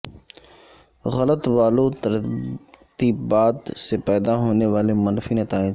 غلط والو ترتیبات سے پیدا ہونے والے منفی نتائج